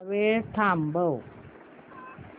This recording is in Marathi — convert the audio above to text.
थोडा वेळ थांबव